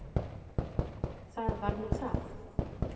Það var nú það!